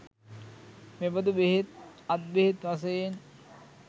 මෙබඳු බෙහෙත්, අත් බෙහෙත් වශයෙන්